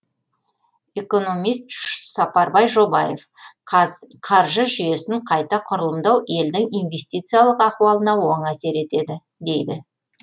экономист сапарбай жобаев қаржы жүйесін қайта құрылымдау елдің инвестициялық ахуалына оң әсер етеді дейді